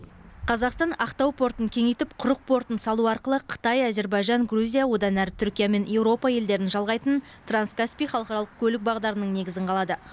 қазақстан ақтау портын кеңейтіп құрық портын салу арқылы қытай әзербайжан грузия одан әрі түркия мен еуропа елдерін жалғайтын транскаспий халықаралық көлік бағдарының негізін қалады